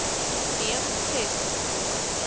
neem ses to